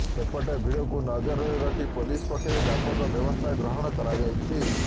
ସେପଟେ ଭିଡ଼କୁ ନଜରରେ ରଖି ପୋଲିସ ପକ୍ଷରୁ ବ୍ୟାପକ ବ୍ୟବସ୍ଥା ଗ୍ରହଣ କରାଯାଇଛି